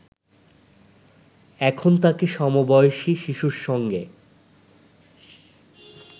এখন তাকে সমবয়সী শিশুদের সঙ্গে